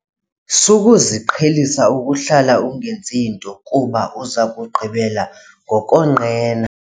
Sukuziqhelisa ukuhlala ungenzi nto kuba uza kugqibela ngokonqena.